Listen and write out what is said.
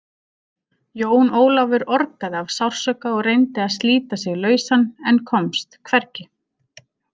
Jón Ólafur orgaði af sársauka og reyndi að slíta sig lausan en komst hvergi.